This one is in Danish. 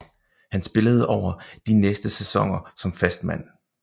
Han spillede over de næste sæsoner som fast mand